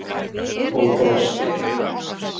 Og brosti.